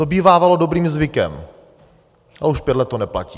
To bývávalo dobrým zvykem, ale už pět let to neplatí.